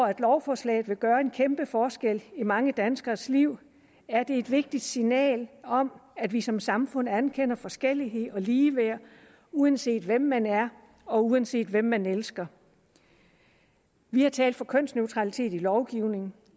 at lovforslaget vil gøre en kæmpe forskel i mange danskeres liv er det et vigtigt signal om at vi som samfund anerkender forskellighed og ligeværd uanset hvem man er og uanset hvem man elsker vi har talt for kønsneutralitet i lovgivningen